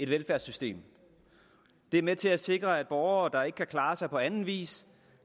velfærdssystem det er med til at sikre at borgere der ikke kan klare sig på anden vis